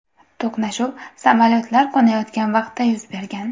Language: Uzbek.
To‘qnashuv samolyotlar qo‘nayotgan vaqtda yuz bergan.